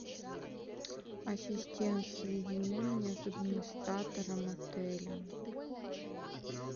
ассистент соедини меня с администратором отеля